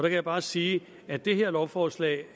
jeg bare sige at det her lovforslag